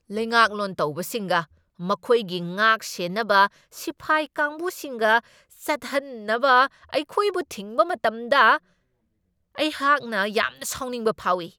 ꯂꯩꯉꯥꯛꯂꯣꯟ ꯇꯧꯕꯁꯤꯡꯒ ꯃꯈꯣꯏꯒꯤ ꯉꯥꯛꯁꯦꯟꯅꯕ ꯁꯤꯐꯥꯏ ꯀꯥꯡꯕꯨꯁꯤꯡꯒ ꯆꯠꯍꯟꯅꯕ ꯑꯩꯈꯣꯏꯕꯨ ꯊꯤꯡꯕ ꯃꯇꯝꯗ ꯑꯩꯍꯥꯛꯅ ꯌꯥꯝꯅ ꯁꯥꯎꯅꯤꯡꯕ ꯐꯥꯎꯢ ꯫